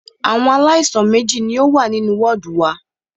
Àwọn aláìsàn méjì ní o wà nínú wọ́ọ̀dù wa.